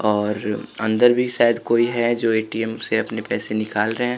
और अंदर भी शायद कोई है जो ए_टी_एम से अपने पैसे निकाल रहे हैं।